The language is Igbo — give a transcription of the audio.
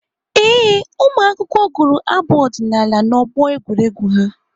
Ee, ụmụakwụkwọ ahụ gụrụ abụ ọdịnaala n'ọgbọ egwuregwu ha.